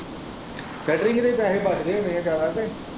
String ਦੇ ਪੈਹੇ ਬਚਦੇ ਹੁਣੇ ਆ ਜ਼ਿਆਦਾ ਫੇਰ।